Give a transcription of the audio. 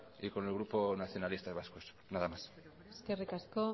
y con el grupo nacionalista vasco nada más eskerrik asko